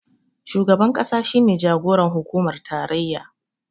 Shugaban ƙasa shi ne jagoran hukumar tarayya